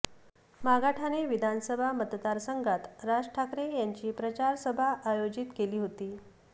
मागाठाणे विधानसभा मतदारसंघात राज ठाकरे यांची प्रचार सभा आयोजित केली होती